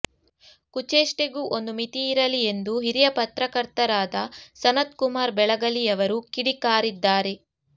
ಕುಚೇಷ್ಟೆಗೂ ಒಂದು ಮಿತಿಯಿರಲಿ ಎಂದು ಹಿರಿಯ ಪತ್ರಕರ್ತರಾದ ಸನತ್ ಕುಮಾರ್ ಬೆಳಗಲಿಯವರು ಕಿಡಿಕಾರಿದ್ದಾರೆ